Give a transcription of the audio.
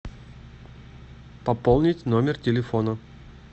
пополнить номер телефона